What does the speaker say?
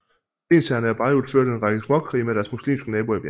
Lensherrene af Beirut førte en række småkrige med deres muslimske naboer i bjergene